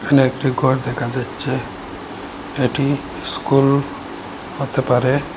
এখানে একটি ঘর দেখা যাচ্ছে এটি স্কুল হতে পারে।